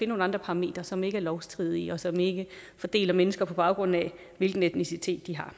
nogle andre parametre som ikke er lovstridige og som ikke fordeler mennesker på baggrund af hvilken etnicitet de har